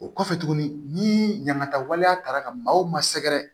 O kɔfɛ tuguni ni ɲamantaw taara ka maaw ma sɛgɛrɛ